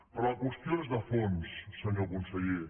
però la qüestió és de fons senyor conseller